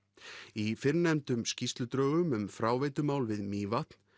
í fyrrnefndum skýrsludrögum um fráveitumál við Mývatn